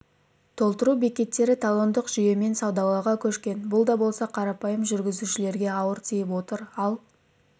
толтыру бекеттері талондық жүйемен саудалауға көшкен бұл да болса қарапайым жүргізушілерге ауыр тиіп отыр ал